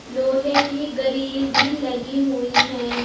लोहे कि गरी ग्रिल भी लगी हुई हैं।